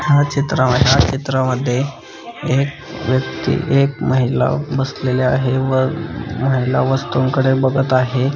हा चित्रा ह्या चित्रामध्ये एक व्यक्ति एक महिला बसलेले आहे व महिला वस्तूंकडे बघत आहे.